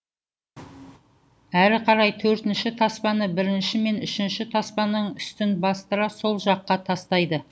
әрі қарай төртінші таспаны бірінші мен үшінші таспаның үстін бастыра сол жаққа тастайды